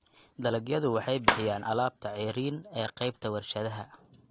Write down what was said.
Dalagyadu waxay bixiyaan alaabta ceeriin ee qaybta warshadaha.